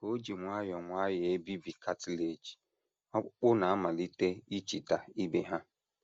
Ka o ji nwayọọ nwayọọ ebibi cartilage, ọkpụkpụ na - amalite ichita ibe ha.